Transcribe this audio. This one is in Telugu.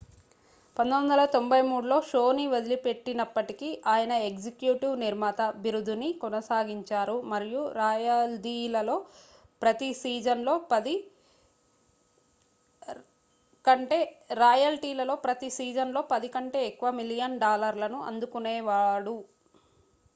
1993లో షోని వదిలిపెట్టినప్పటికి ఆయన ఎగ్జిక్యూటివ్ నిర్మాత బిరుదుని కొనసాగించారు మరియు రాయల్టీలలో ప్రతి సీజన్ లో పది కంటే ఎక్కువ మిలియన్ల డాలర్లను అందుకునేవారు